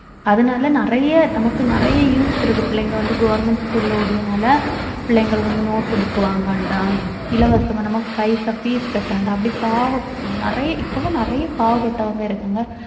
அதனால நிறைய நமக்கு நிறைய use இருக்கு பிள்ளைங்க வந்து government school உடையனால பிள்ளைங்களுக்கு வந்து note book வாங்க வேண்டாம் இலவசமா நம்ம பைசா fees கட்ட வேண்டாம் அப்படி பாவப்~ நிறைய இப்பவும் நிறைய பாவப்பட்டவங்க இருக்காங்க